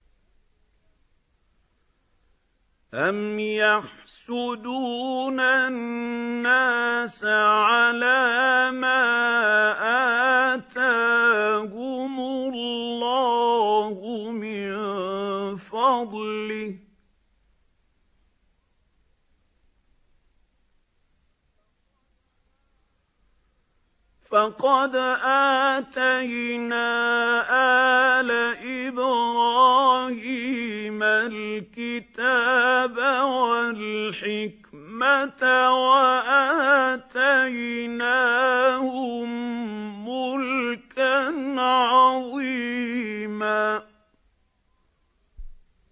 أَمْ يَحْسُدُونَ النَّاسَ عَلَىٰ مَا آتَاهُمُ اللَّهُ مِن فَضْلِهِ ۖ فَقَدْ آتَيْنَا آلَ إِبْرَاهِيمَ الْكِتَابَ وَالْحِكْمَةَ وَآتَيْنَاهُم مُّلْكًا عَظِيمًا